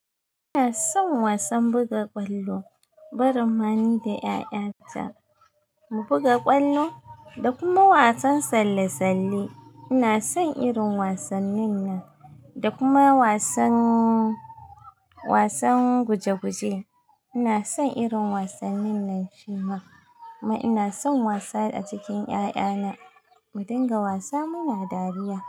Ina son wasan buga ƙwallo, barin ma ni da ƴaƴata mu buga ƙwallo da kuma wasan tsalle-tsalle. Ina son irin wasannin nan da kuma wasan, wasan guje-guje. Ina son irin wasannin nan shima. Kuma ina son wasa a cikin ƴaƴana. Mu dinga wasa muna dariya.